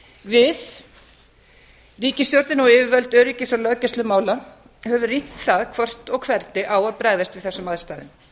við ríkisstjórnin og yfirvöld öryggis og löggæslumála höfum rýnt það hvernig á að bregðast við þessum aðstæðum